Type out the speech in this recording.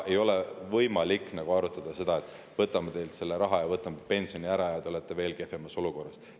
Ei ole võimalik arutada seda, et võtame teilt selle raha, võtame pensioni ära ja te olete veel kehvemas olukorras.